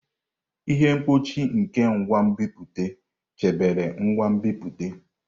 Ihe mkpuchi nke ngwa nbipute chebere ngwa nbipute.